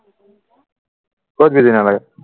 কত busy নহলে